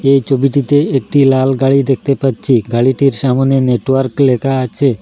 এই ছবিটিতে একটি লাল গাড়ি দেখতে পাচ্ছি গাড়িটির সামোনে নেটওয়ার্ক লেখা আছে।